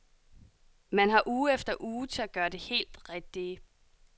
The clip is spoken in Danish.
Man har uge efter uge til at gøre det helt rigtige.